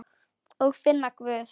Og finna Guð.